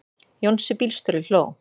Jónsi bílstjóri hló.